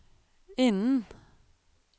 innen